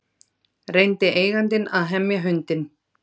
Reyndi eigandinn að hemja hundinn